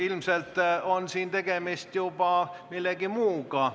Ilmselt on siin tegemist juba millegi muuga.